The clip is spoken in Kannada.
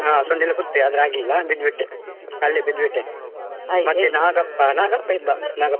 ಹ್ಮ್‌. ಸೊಂಡಿಲು ಕೂತ್ತೆ ಆದ್ರೆ ಆಗ್ಲಿಲ್ಲ ಬಿದ್ಬಿಟ್ಟೆ ಅಲ್ಲೆ ಬಿದ್ಬಿಟ್ಟೆ ನಾಗಪ್ಪ ನಾಗಪ್ಪ ಇದ್ದ ನಾಗಪ್ಪ.